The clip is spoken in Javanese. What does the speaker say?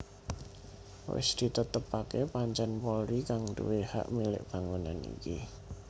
Wis ditetepaké pancèn Polri kang nduwé hak milik bangunan iki